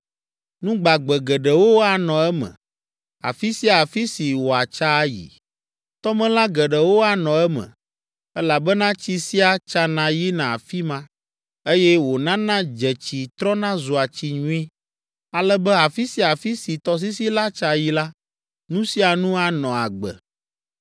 Nu gbagbe geɖewo anɔ eme, afi sia afi si wòatsa ayi. Tɔmelã geɖewo anɔ eme, elabena tsi sia tsana yina afi ma, eye wònana dzetsi trɔna zua tsi nyui, ale be afi sia afi si tɔsisi la tsa yi la, nu sia nu anɔ agbe.